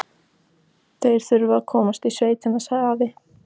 Þeir þurfa að komast í sveit, sagði afi.